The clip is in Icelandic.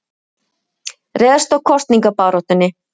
Réðst á kosningabaráttunni